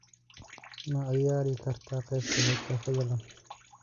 ma ciyaari kartaa qaybta xigta fadlan